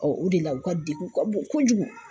o de la, u ka degun ka bon kojugu.